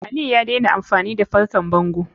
Aliyu ya daina amfani da fankar bango.